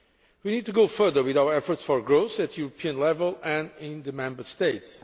We need to go further with our efforts for growth at European level and in the Member States.